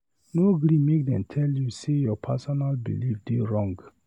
No gree make dem tell you sey your personal belif dey wrong.